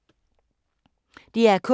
DR K